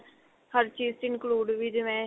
ਹਰ ਚੀਜ ਚ include ਵੀ ਜਿਵੇਂ